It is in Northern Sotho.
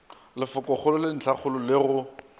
lefokogolo le ntlhakgolo le go